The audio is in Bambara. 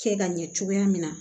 Kɛ ka ɲɛ cogoya min na